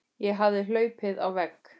Ég hafði hlaupið á vegg.